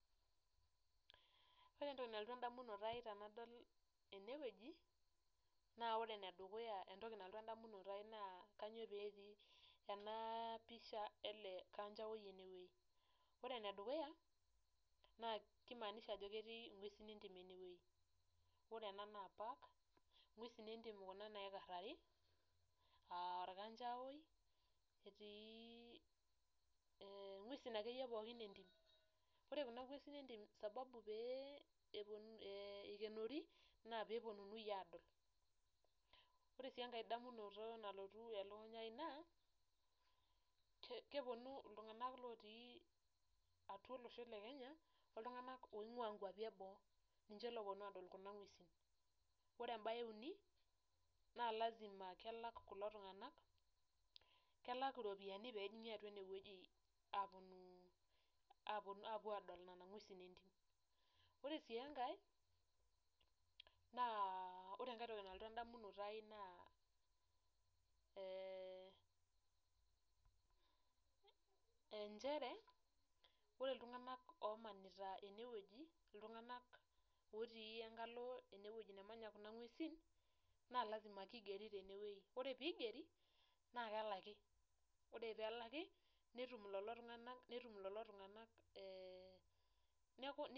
Ore entoki nalotu endamunoto ai tenadol eneweji naa ore ene dukuya entoki nadotu endamutono ai naa kainyoo pee etii ena pisha ele kanchawoi ene weji ore ene dukuya na kimaanisha ajo ketii ingwesin entim enewei ore ena naa park ingwesin entim Kuna naa ikarari aa orkanchawoi , netii engwesin ake yie pookin entim ore Kuna ngwesin entim sababu pee eikenori naa peyie eponunui aadol ore sii enkae damunoto nalotu elukunya ai naa keponu ltunganak otii atua olosho lekenya oltunganak oingua nkwapi eboo ninche looponu adol Kuna gwesin ,ore embae euni naa lazima kelak kulo tunganak ,kelaki ropiyiani pee ajingi eneweji apuo adol nena gwesin entim, oree sii enkae, naa ore entoki nalotu endamunoto ai naa eeh nchere ore iltunganak omanita eneweji ,iltunganak lenkalo eneweji nemanya Kuna ngwesin lazima keigeri teneweji ore pee eigeri naa kelaki ,ore pee elaki netum lelo tunganak eeh.